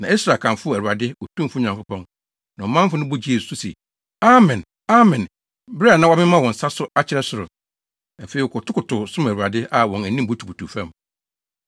Na Ɛsra kamfoo Awurade, Otumfo Nyankopɔn, na ɔmanfo no bɔ gyee so se, “Amen! Amen!” bere a na wɔmemamema wɔn nsa so akyerɛɛ soro. Afei, wɔkotokotow, som Awurade a wɔn anim butubutuw fam.